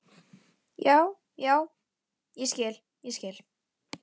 Já, já, ég skil, ég skil.